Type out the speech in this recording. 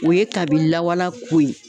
O ye kabi lawala ko ye.